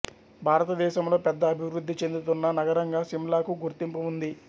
భారతదేశంలో పెద్ద అభివృద్ధి చెందుతున్న నగరంగా సిమ్లాకు గుర్తింపు ఉంది